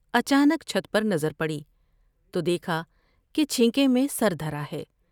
اچا نک چھت پر نظر پڑی تو دیکھا کہ چھینکے میں سر دھرا ہے ۔